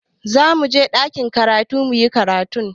Za mu je ɗakin karatu mu yi karatu.